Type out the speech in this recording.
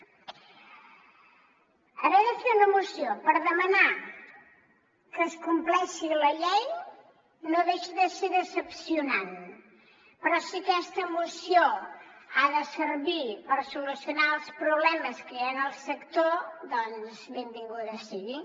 haver de fer una moció per demanar que es compleixi la llei no deixa de ser decebedor però si aquesta moció ha de servir per solucionar els problemes que hi ha en el sector doncs benvinguda sigui